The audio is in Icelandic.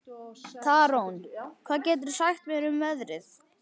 Tarón, hvað geturðu sagt mér um veðrið?